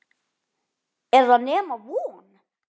Er það nema von?